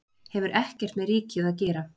Hefur ekkert með ríkið að gera